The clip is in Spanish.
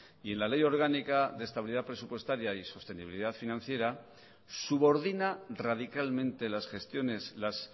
y en la ley orgánica de estabilidad presupuestaria y sostenibilidad financiera subordina radicalmente las gestiones las